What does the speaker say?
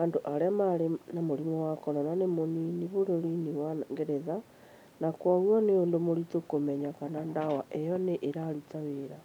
andũ arĩa marĩ na mũrimũ wa corona nĩ mũnini bũrũri-inĩ wa Ngeretha, na kwoguo ni ũndũ mũritũ kũmenya kana ndawa ĩyo nĩ ĩraruta wĩra.